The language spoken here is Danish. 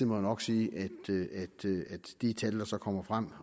jo nok sige at de tal der så kommer frem